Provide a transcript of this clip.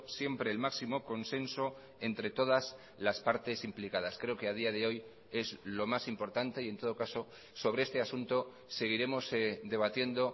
siempre el máximo consenso entre todas las partes implicadas creo que a día de hoy es lo más importante y en todo caso sobre este asunto seguiremos debatiendo